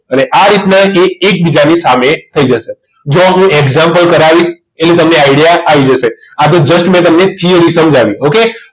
અને આ રીતના એ એકબીજાની સામે થઈ જશે જો હું example કરાવીશ એટલે તમને idea આવી જશે આ તો just મેં તમને theory સમજાવી ઓકે